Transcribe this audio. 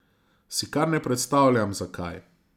Si kar ne predstavljam, zakaj.